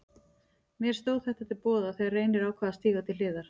Mér stóð þetta til boða þegar Reynir ákvað að stíga til hliðar.